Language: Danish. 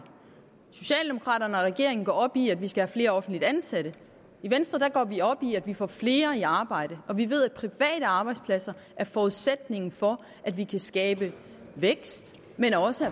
socialdemokraterne og regeringen går op i at vi skal have flere offentligt ansatte i venstre går vi op i at vi får flere i arbejde og vi ved at private arbejdspladser er forudsætningen for at vi kan skabe vækst men også